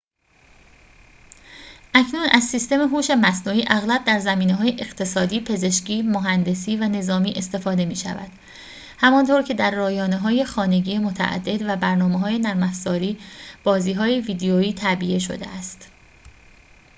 اکنون از سیستم هوش مصنوعی اغلب در زمینه‌های اقتصادی پزشکی مهندسی و نظامی استفاده می‌شود همان‌طور که در رایانه‌های خانگی متعدد و برنامه‌های نرم‌افزاری بازی‌های ویدئویی تعبیه شده است